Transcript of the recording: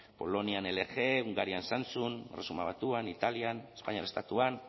polonian lg hungarian samsung erresuma batuan italian espainiar estatuan